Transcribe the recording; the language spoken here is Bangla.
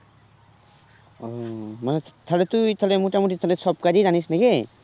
ও মানে তাহলে তুই তাহলে মোটামুটি তাহলে সব কাজই জানিস নাকি?